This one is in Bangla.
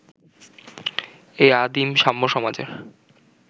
এই আদিম সাম্য-সমাজের